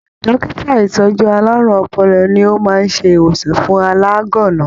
Dókítà ìtọjú àlárún ọpọlọ ní o máa n se ìwòsàn fún alaganna